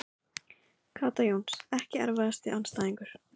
Kata Jóns Ekki erfiðasti andstæðingur?